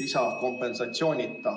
lisakompensatsioonita.